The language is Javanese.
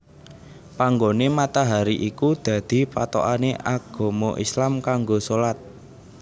Panggoné matahari iku dadi pathokané agama Islam kanggo shalat